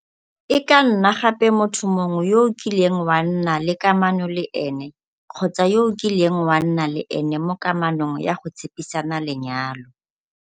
E ka nna gape motho mongwe yo o kileng wa nna le kamano le ene kgotsa yo o kileng wa nna le ene mo kamanong ya go tshepisana lenyalo.